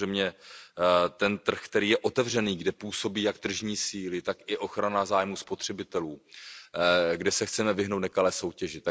Samozřejmě ten trh, který je otevřený, kde působí jak tržní síly, tak i ochrana zájmů spotřebitelů, kde se chceme vyhnout nekalé soutěži.